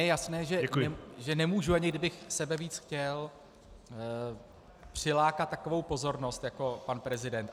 Je mi jasné, že nemůžu, ani kdybych sebevíc chtěl, přilákat takovou pozornost jako pan prezident.